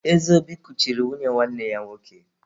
Ezeobi kuchiri nwunye nwanne ya nwoke.